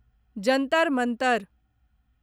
Jantar Mantar